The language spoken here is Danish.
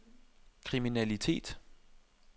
kriminalitet